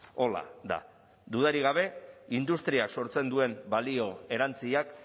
horrela da dudarik gabe industriak sortzen duen balio erantsiak